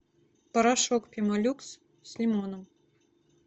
порошок пемолюкс с лимоном